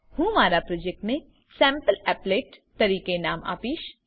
હું મારા પ્રોજેક્ટને સેમ્પલીપલેટ તરીકે નામ આપીશ